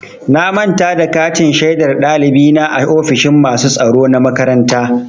Na manta da katin shaidar ɗalibi na a ofishin masu tsaro na makaranta.